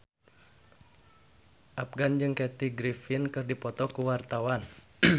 Afgan jeung Kathy Griffin keur dipoto ku wartawan